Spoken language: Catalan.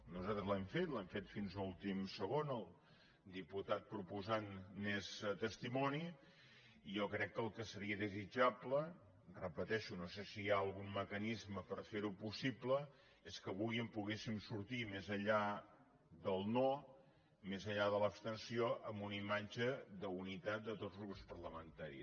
nosaltres l’hem fet l’hem fet fins a l’últim segon el diputat proposant n’és testimoni i jo crec que el que seria desitjable ho repeteixo no sé si hi ha algun mecanisme per fer ho possible és que avui en poguéssim sortir més enllà del no més enllà de l’abstenció amb una imatge d’unitat de tots els grups parlamentaris